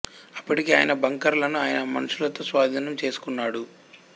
అప్పటికే ఆయన బంకర్ లను ఆయన మనుషులతో స్వాధీనం చేసుకున్నడు